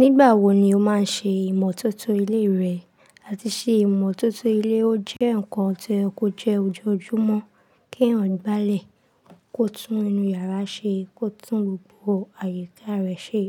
Nígbà wo ni o máa ń ṣe ìmọ́tótó ilé rẹ àti ṣé ìmọ́tótó ilé o jẹ́ nǹkan tó yẹ kó jẹ́ ojoojúmọ́ kí èèyàn gbálẹ̀ kó tún inú yàrá rẹ̀ ṣe, kó tún gbogbo àyíká rẹ̀ ṣe?